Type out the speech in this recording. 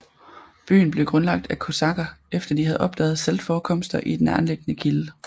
Byen blev grundlagt af kosakker efter de havde opdaget saltforekomster i en nærtliggende kilde